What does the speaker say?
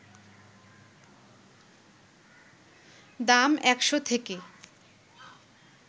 দাম ১শ’ থেকে